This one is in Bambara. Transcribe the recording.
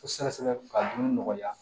Sɛgɛsɛgɛ ka dumuni nɔgɔya